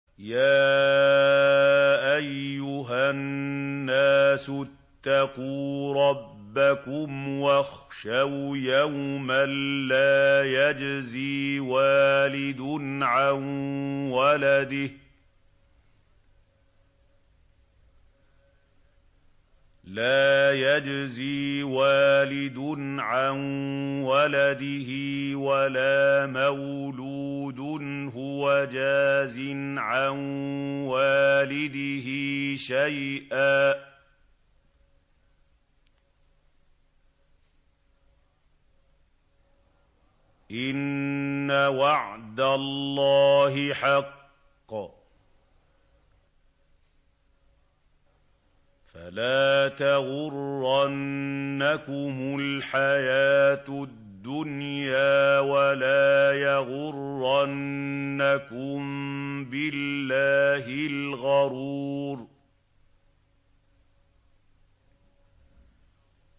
يَا أَيُّهَا النَّاسُ اتَّقُوا رَبَّكُمْ وَاخْشَوْا يَوْمًا لَّا يَجْزِي وَالِدٌ عَن وَلَدِهِ وَلَا مَوْلُودٌ هُوَ جَازٍ عَن وَالِدِهِ شَيْئًا ۚ إِنَّ وَعْدَ اللَّهِ حَقٌّ ۖ فَلَا تَغُرَّنَّكُمُ الْحَيَاةُ الدُّنْيَا وَلَا يَغُرَّنَّكُم بِاللَّهِ الْغَرُورُ